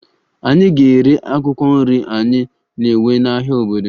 Anyị ga-ere akwụkwọ nri anyị na-ewe n'ahịa obodo